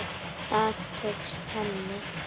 Það tókst henni.